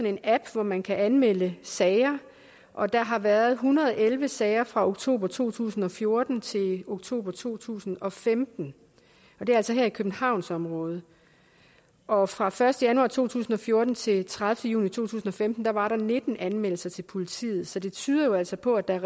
en app hvor man kan anmelde sager og der har været en hundrede og elleve sager fra oktober to tusind og fjorten til oktober to tusind og femten og det er altså her i københavnsområdet og fra den første januar to tusind og fjorten til den tredivete juni to tusind og femten var der nitten anmeldelser til politiet så det tyder jo altså på at der er